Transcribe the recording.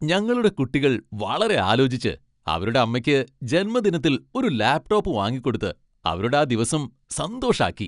ഞങ്ങളുടെ കുട്ടികൾ വളരെ ആലോചിച്ച് അവരുടെ അമ്മയ്ക്ക് ജന്മദിനത്തിൽ ഒരു ലാപ്ടോപ്പ് വാങ്ങികൊടുത്ത് അവരുടെ ആ ദിവസം സന്തോഷാക്കി.